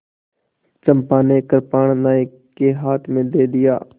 चंपा ने कृपाण नायक के हाथ में दे दिया